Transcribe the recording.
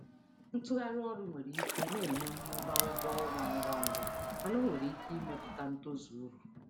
Ịgbanwe ọrụ nwere um ike um inye mmụba ụgwọ ọrụ ngwa ngwa mana ọ nwere ike imetụta ikike inweta uru. um